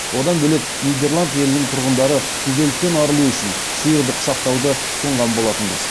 одан бөлек нидерланд елінің тұрғындары күйзелістен арылу үшін сиырды құшақтауды ұсынған болатынбыз